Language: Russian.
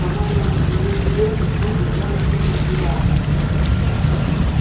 по-моему господин директор поттер явно что-то скрывает